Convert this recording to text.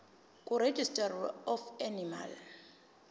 kuregistrar of animals